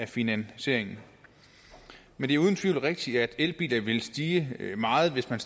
finansieringen men det er uden tvivl rigtigt at elbiler vil stige meget hvis man